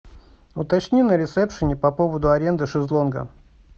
уточни на ресепшене по поводу аренды шезлонга